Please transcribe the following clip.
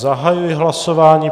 Zahajuji hlasování.